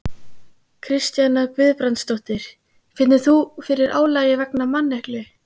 Kristjana Guðbrandsdóttir: Finnur þú fyrir álagi vegna manneklu?